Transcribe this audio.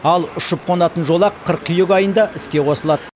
ал ұшып қонатын жолақ қыркүйек айында іске қосылады